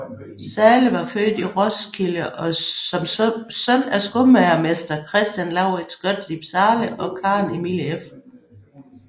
Zahle var født i Roskilde som søn af skomagermester Christian Lauritz Gottlieb Zahle og Karen Emilie f